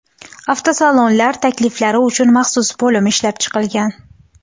Avtosalonlar takliflari uchun maxsus bo‘lim ishlab chiqilgan.